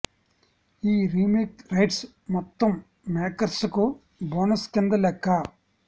ఈ remake rights మొత్తం makers కు బోనస్ కింద లెక్క